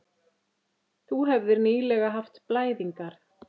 Þú hefðir nýlega haft blæðingar.